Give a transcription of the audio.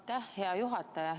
Aitäh, hea juhataja!